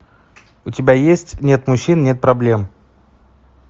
у тебя есть нет мужчин нет проблем